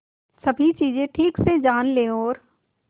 सभी चीजें ठीक से जान ले और